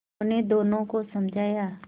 उन्होंने दोनों को समझाया